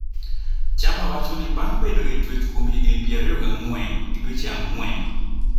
Tchamba wacho ni bang ' bedo e twech kuom higini pier ariyo gi ang`wen gi dweche ang'wen